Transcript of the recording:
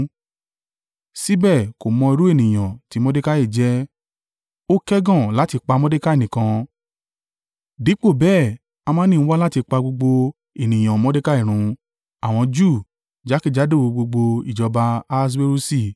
Síbẹ̀ kò mọ irú ènìyàn tí Mordekai jẹ́, ó kẹ́gàn láti pa Mordekai nìkan. Dípò bẹ́ẹ̀ Hamani ń wá láti pa gbogbo ènìyàn Mordekai run, àwọn Júù jákèjádò gbogbo ìjọba Ahaswerusi.